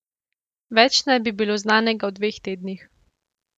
Več naj bi bilo znanega v dveh tednih.